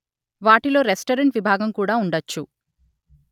వాటిలో రెస్టరెంట్ విభాగం కూడా ఉండొచ్చు